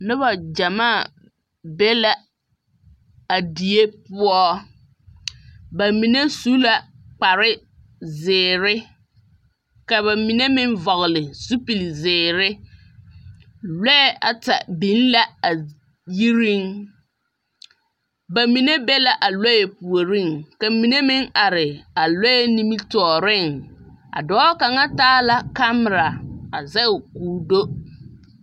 Noba gyamaa be la a die poͻ. Ba mine su la kpare zeere ka ba mine meŋ vͻgele zupili zeere. Lͻԑ ata biŋ la a yiriŋ. Ba mine be la a lͻԑ puoriŋ, ka mine meŋ are a lͻԑ nimitͻͻreŋ. A dͻͻ kaŋa taa la kamera a zԑge koo do.